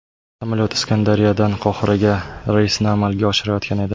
Samolyot Iskandariyadan Qohiraga reysni amalga oshirayotgan edi.